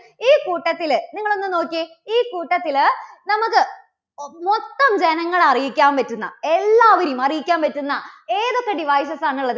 ഈ കൂട്ടത്തില് നിങ്ങള് ഒന്നു നോക്കിയേ, ഈ കൂട്ടത്തില് നമുക്ക് മൊത്തം ജനങ്ങളെ അറിയിക്കാൻ പറ്റുന്ന, എല്ലാവരെയും അറിയിക്കാൻ പറ്റുന്ന ഏതൊക്കെ devices ആണുള്ളത്?